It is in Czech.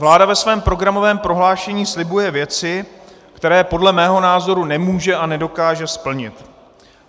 Vláda ve svém programovém prohlášení slibuje věci, které podle mého názoru nemůže a nedokáže splnit.